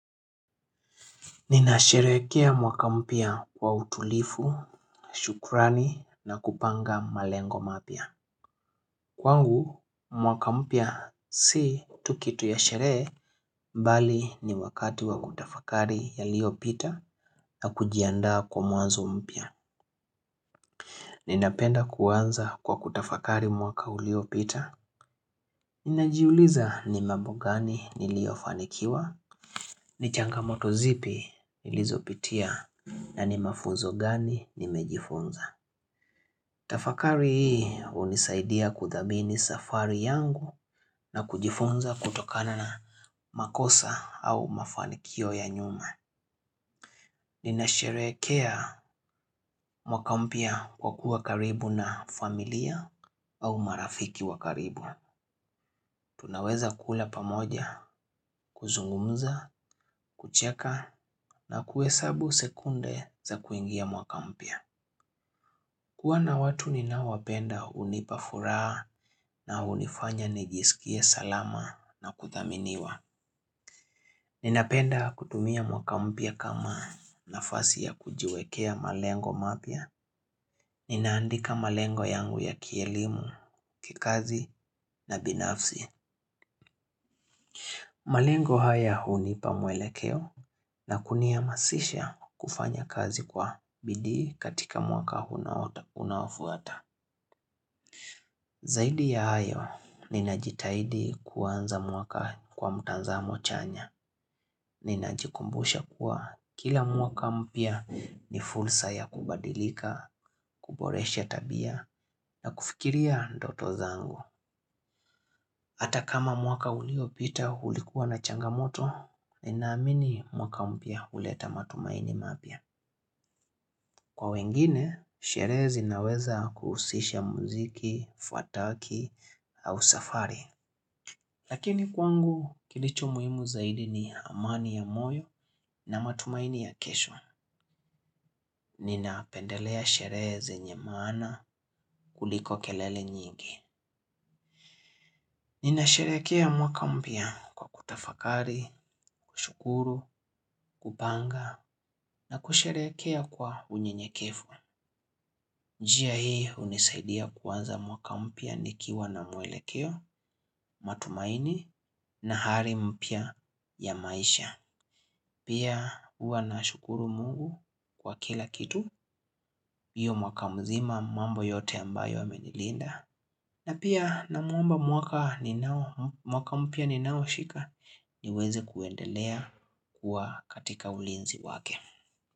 Ninasherehekea mwaka mpya wa utulifu, shukrani na kupanga malengo mapya. Kwangu, mwaka mpya si tukitu ya sherehe, bali ni wakati wa kutafakari ya liyo pita na kujianda kwa mwanzo mpya. Ninapenda kuwanza kwa kutafakari mwaka ulio pita. Ninajiuliza ni mambo gani nilio fanikiwa, ni changamoto zipi nilizopitia na ni mafunzo gani nimejifunza. Tafakari hii hunisaidia kuthamini safari yangu na kujifunza kutokana na makosa au mafanikio ya nyuma. Nina sharehekea mwaka mpya wa kuwa karibu na familia au marafiki wa karibu. Tunaweza kula pamoja, kuzungumza, kucheka na kuhesabu sekunde za kuingia mwaka mpya. Kuwa na watu ninaowapenda hunipa furaha na hunifanya nijisikie salama na kuthaminiwa. Ninapenda kutumia mwaka mpya kama nafasi ya kujiwekea malengo mapya. Ninaandika malengo yangu ya kielimu, kikazi na binafsi. Malengo haya hunipa mwelekeo na kunihamasisha kufanya kazi kwa bidii katika mwaka unaofuata. Zaidi ya hayo, ninajitahidi kuanza mwaka kwa mtanzamo chanya. Ninajikumbusha kuwa kila mwaka mpya ni fulsa ya kubadilika, kuboresha tabia na kufikiria ndoto zangu. Hata kama mwaka uliopita ulikuwa na changamoto, ninaamini mwaka mpya uleta matumaini mapya. Kwa wengine, sherehe zinaweza kuhusisha muziki, fuataki au safari. Lakini kwangu kilicho muhimu zaidi ni amani ya moyo na matumaini ya kesho. Nina pendelea sherehe zenye maana kuliko kelele nyingi. Ninasherehekea mwaka mpya kwa kutafakari, kushukuru, kupanga na kusherehekea kwa unyenyekefu. Njia hii hunisaidia kuanza mwaka mpya ni kiwa na mwelekeo, matumaini na hari mpya ya maisha. Pia huwa na shukuru mungu kwa kila kitu, iyo mwaka mzima mambo yote ambayo amenilinda. Na pia namuomba mwaka mpya ninao shika niweze kuendelea kuwa katika ulinzi wake.